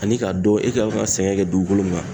Ani ka dɔn e kan ka sɛgɛn kɛ dugukolo min kan.